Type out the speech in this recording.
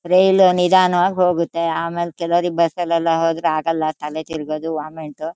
ರೈಲು ನಿಧಾನ ವಾಗ್ ಹೋಗತ್ತೆ ಆಮೇಲೆ ಕೆಲವ್ರಿಗೆ ಬಸ್ ಅಲ್ ಹೋದ್ರೆ ಆಗಲ್ಲಾ ತಲೆ ತಿರ್ಗೋದು ವೊಮಿಟ್ --